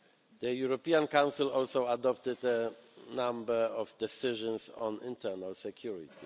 The European Council also adopted a number of decisions on internal security.